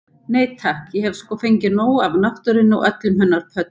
Nei takk, ég hef sko fengið nóg af náttúrunni og öllum hennar pöddum.